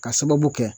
Ka sababu kɛ